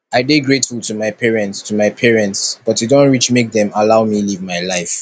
i dey grateful to my parents to my parents but e don reach make dem allow me live my life